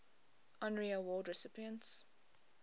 honorary award recipients